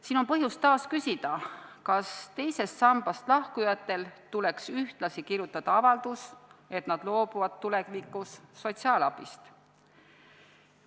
Siin on taas põhjust küsida: kas teisest sambast lahkujatel tuleks ühtlasi kirjutada avaldus, et nad loobuvad tulevikus sotsiaalabist?